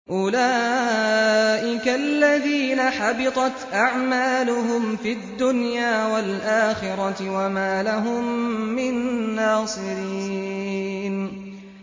أُولَٰئِكَ الَّذِينَ حَبِطَتْ أَعْمَالُهُمْ فِي الدُّنْيَا وَالْآخِرَةِ وَمَا لَهُم مِّن نَّاصِرِينَ